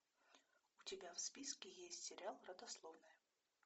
у тебя в списке есть сериал родословная